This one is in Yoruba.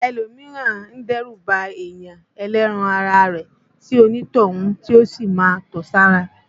Ẹlòmíràn a dẹ́rù ba ènìyàn ẹlẹ́ran ara rẹ̀ tí onítọ̀hún yó sì máa tọ̀ sára